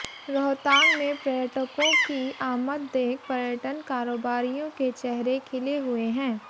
रोहतांग में पर्यटकों की आमद देख पर्यटन कारोबारियों के चेहरे खिले हुए हैं